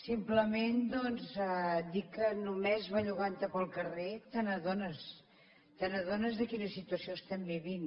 simplement doncs dir que només bellugantte pel carrer t’adones t’adones de quina situació estem vivint